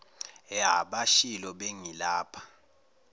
ya bashilo bengilapha